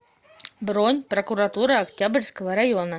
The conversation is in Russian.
бронь прокуратура октябрьского района